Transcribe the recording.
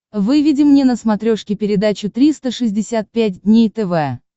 выведи мне на смотрешке передачу триста шестьдесят пять дней тв